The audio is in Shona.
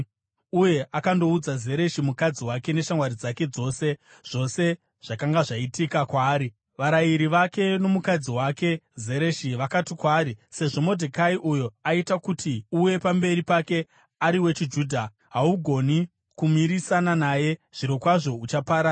uye akandoudza Zereshi mukadzi wake neshamwari dzake dzose zvose zvakanga zvaitika kwaari. Varayiri vake nomukadzi wake Zereshi vakati kwaari, “Sezvo Modhekai, uyo aita kuti uwe pamberi pake, ari wechiJudha, haugoni kumirisana naye, zvirokwazvo uchaparara!”